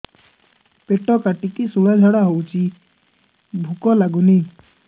ପେଟ କାଟିକି ଶୂଳା ଝାଡ଼ା ହଉଚି ଭୁକ ଲାଗୁନି